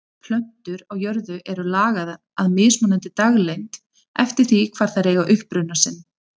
Plöntur á jörðu eru lagaðar að mismunandi daglengd eftir því hvar þær eiga uppruna sinn.